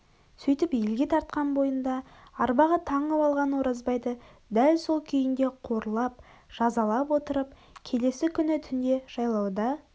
сөйтіп елге тартқан бойында арбаға таңып алған оразбайды дәл осы күйінде қорлап жазалап отырып келесі күні түнде жайлауда